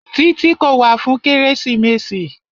Títí kò wá fún kérésìmesì.